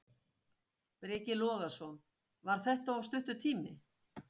Breki Logason: Var þetta of stuttur tími?